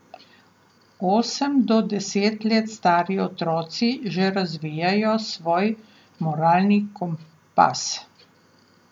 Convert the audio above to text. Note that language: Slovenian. Osem do deset let stari otroci že razvijajo svoj moralni kompas.